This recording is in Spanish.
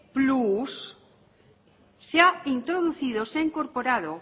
plus se ha introducido se ha incorporado